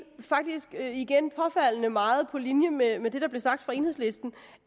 faktisk igen påfaldende meget på linje med med det der blev sagt fra enhedslistens